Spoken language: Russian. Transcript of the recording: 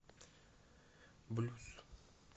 блюз